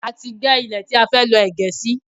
A ti gẹ́ ilẹ̀ tí a fẹ́ lọ́ ẹ̀gẹ́ sí